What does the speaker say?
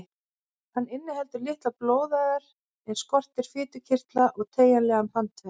Hann inniheldur litlar blóðæðar en skortir fitukirtla og teygjanlegan bandvef.